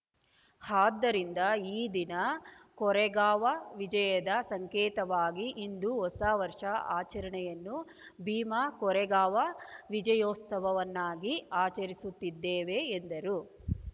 ಆದ್ದರಿಂದ ಈ ದಿನ ಕೊರೆಂಗಾವ್‌ ವಿಜಯದ ಸಂಕೇತವಾಗಿ ಇಂದು ಹೊಸವರ್ಷ ಆಚರಣೆಯನ್ನೂ ಭೀಮಾ ಕೊರೆಂಗಾವಾ ವಿಜಯೋತ್ಸವವನ್ನಾಗಿ ಆಚರಿಸುತ್ತಿದ್ದೇವೆ ಎಂದರು